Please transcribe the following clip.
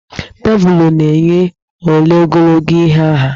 Teepụ na-enye ole ogologo ihe ha.